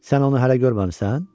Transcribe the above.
Sən onu hələ görməmisən?